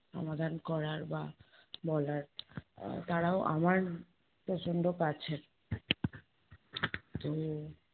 সমাধান করার বা বলার। আহ তারাও আমার প্ৰচণ্ড কাছের। তো